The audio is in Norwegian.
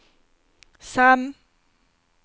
Sem